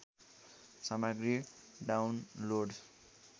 सामग्री डाउनलोड